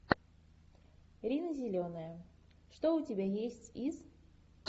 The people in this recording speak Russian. рина зеленая что у тебя есть из